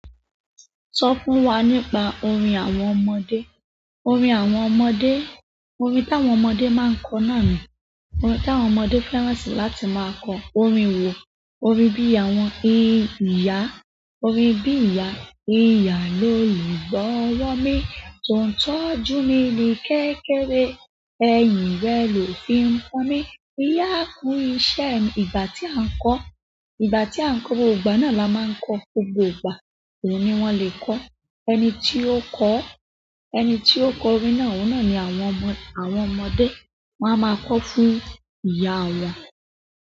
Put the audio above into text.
Sọ fún wa nípa orin àwọn ọmọdé. Orin àwọn ọmọdé, orin táwọn ọmọdé máa ń kọ náà ni, orin táwọn ọmọdé fẹ́ràn si láti máa kọ orin wòó, orin bí àwọn ìyá, orin bí ìyá. "Ìyá ló lùgbọ́wọ́ mi, ton tójú mi ní kékeré, ẹ̀yìn rẹ ló fi ń pàn mí, ìyá kú iṣẹ́." Ìgbà tí a ń kọ, ìgbà tí a ń kọ, gbogbo ìgbà náà ni a má ń kọọ́, gbogbo ìgbà ni wón le kọ́. Ẹni tí ó kọ́, ẹni tí ó kọ orin náà, ohun náà ni àwọn ọmọ, àwọn ọmọdé máa ma kọ fún ìyá wọn.